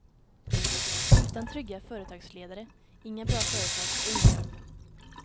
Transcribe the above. Utan trygga företagsledare, inga bra företag och inga jobb.